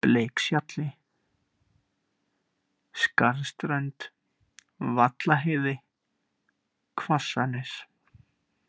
Bleikshjalli, Skarðsströnd, Vallaheiði, Hvassanes